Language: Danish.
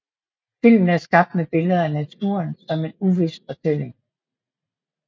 Filmen er skabt med billeder af naturen som en uvis fortælling